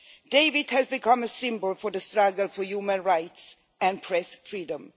Dawit has become a symbol for the struggle for human rights and press freedom.